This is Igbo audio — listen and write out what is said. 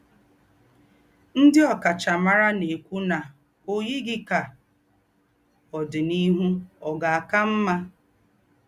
Ndí́ ọ̀káchámárà nà-èkwú nà ò yìghí ká ódìníhù ọ̀ gà-àkà m̀mà.